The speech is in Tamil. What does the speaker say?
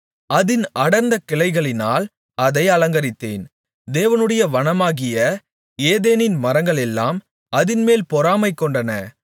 அதின் அடர்ந்த கிளைகளினால் அதை அலங்கரித்தேன் தேவனுடைய வனமாகிய ஏதேனின் மரங்களெல்லாம் அதின்மேல் பொறாமைகொண்டன